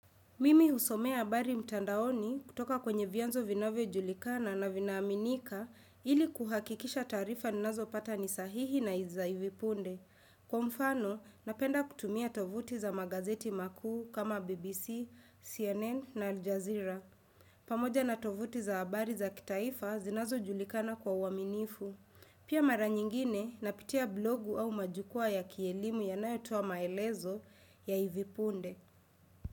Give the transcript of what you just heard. Mimi husomea habari mtandaoni kutoka kwenye vyanzo vinavyojulikana na vinaaminika ili kuhakikisha taarifa ninazopata ni sahihi na za hivi punde. Kwa mfano, napenda kutumia tovuti za magazeti makuu kama BBC, CNN na Aljazira. Pamoja na tovuti za habari za kitaifa, zinazojulikana kwa uwaminifu. Pia mara nyingine, napitia blogu au majukwaa ya kielimu yanayotoa maelezo ya hivi punde.